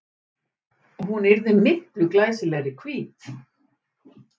Hún yrði miklu glæsilegri hvít.